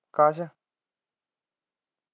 ਕਾਸ਼